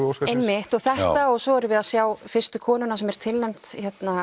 Óskarsverðlauna einmitt svo erum við að sjá fyrstu konuna sem er tilnefnd